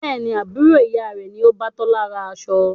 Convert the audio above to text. Bẹ́ẹ̀ni, Àbúrò ìyá rẹ ni o bá Tola rán aṣọ.